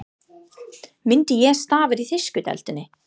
Myndi ég starfa í þýsku deildinni?